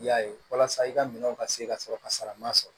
I y'a ye walasa i ka minɛnw ka se ka sɔrɔ ka sara ma sɔrɔ